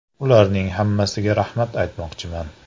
Ularning hammasiga rahmat aytmoqchiman.